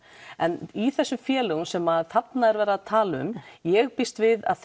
en í þessum félögum sem þarna verið að tala um ég býst við að